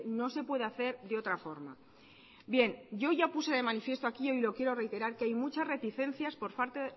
no se puede hacer de otra forma bien yo ya puse de manifiesto aquí y hoy lo quiero reiterar que hay muchas reticencias por parte